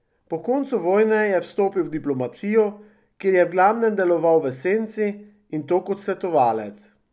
Po koncu vojne je vstopil v diplomacijo, kjer je v glavnem deloval v senci, in to kot svetovalec.